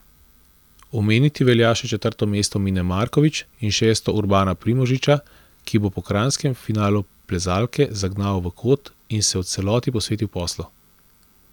Omeniti velja še četrto mesto Mine Markovič in šesto Urbana Primožiča, ki bo po kranjskem finalu plezalke zagnal v kot in se v celoti posvetil poslu.